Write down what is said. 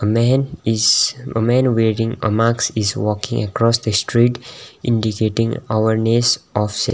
a man is a man wearing a mask is walking across the street indicating ourness of se --